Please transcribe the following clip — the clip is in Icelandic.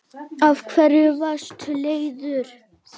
Af hverju varstu leiður?